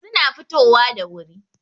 suna fitowa da wuri